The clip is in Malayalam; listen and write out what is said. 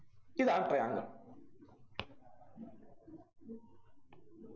ഇതാണ് triangle